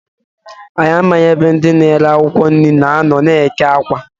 Anyị amaghị ebe ndị na-ere akwụkwọ nri na-anọ n' eke Awka.